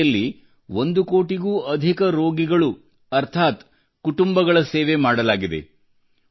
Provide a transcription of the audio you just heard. ಇದರ ಅಡಿಯಲ್ಲಿ ಒಂದು ಕೋಟಿಗೂ ಅಧಿಕ ರೋಗಿಗಳು ಅರ್ಥಾತ್ ಕುಟುಂಬಗಳ ಸೇವೆ ಮಾಡಲಾಗಿದೆ